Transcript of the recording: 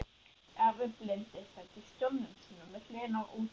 Afi blindi sat í stólnum sínum við hliðina á útvarpinu.